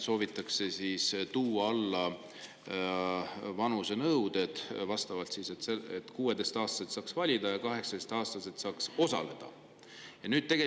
Soovitakse tuua alla vanusenõuet, et 16-aastaselt saaks valida ja 18-aastaselt saaks.